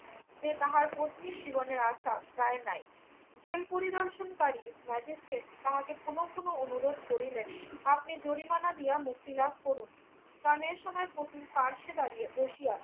যে তাহার পত্নীর জীবনের আশা প্রায় নাই। জেল পরিদর্শনকারী ম্যাজিস্ট্রেট তাহাকে পুনঃ পুনঃ অনুরোধ করিলেন আপনি জরিমানা দিয়ে মুক্তি লাভ করুন। স্নানের সময় পত্নীর পার্শ্বে দাঁড়িয়ে বসিয়া